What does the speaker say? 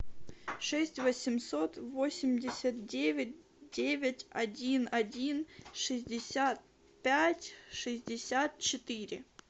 шесть восемьсот восемьдесят девять девять один один шестьдесят пять шестьдесят четыре